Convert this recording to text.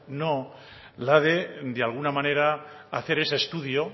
no la de alguna manera hacer ese estudio